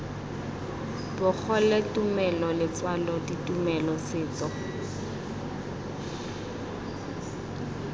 bogole tumelo letswalo ditumelo setso